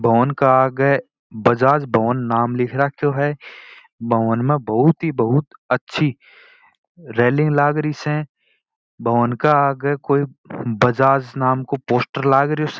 भवन के आगे बजाज भवन नाम लिखा है भवन में बहुत ही बहुत अच्छी रैलिंग लागरी स भवन के आगे कोई बजाज नाम का पोस्टर लागरो स।